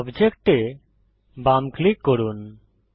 object এ বাম click করুন